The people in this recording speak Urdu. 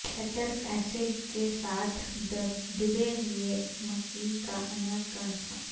سیٹرک ایسڈ کے ساتھ ڈبے میں مکئی کا اناج کا نسخہ